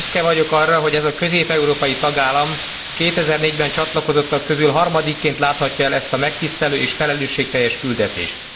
Büszke vagyok arra, hogy ez a közép európai tagállam a 2004 ben csatlakozottak közül harmadikként láthatja el ezt a megtisztelő és felelősségteljes küldetést.